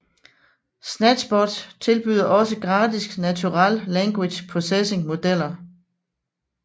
SnatchBot tilbyder også gratis Natural Language Processing modeller